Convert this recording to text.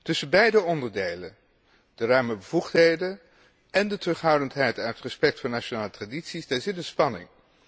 Tussen beide onderdelen, de ruime bevoegdheden en de terughoudendheid en het respect voor nationale tradities, zit een spanning.